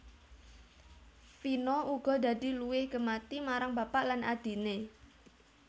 Vino uga dadi luwih gemati marang bapak lan adhiné